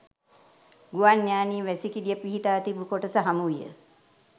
ගුවන් යානයේ වැසිකිළිය පිහිටා තිබූ කොටස හමුවිය